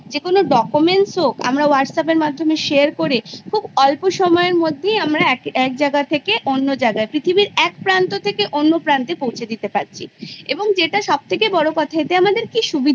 তখন বোঝার থেকে বেশি আমরা শিখি যতটা আমরা নিজেদের মনে আমাদের যতটা জ্ঞান অর্জন করতে পারি সেই জ্ঞানটা আমাদের ভিতরে সারাজীবন থেকেছে এবং সেটা আমাদের Base আমাদের ভিত্তি